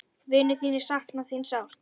Vinir þínir sakna þín sárt.